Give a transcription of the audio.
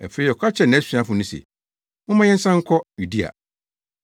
Afei ɔka kyerɛɛ nʼasuafo no se, “Momma yɛnsan nkɔ Yudea.”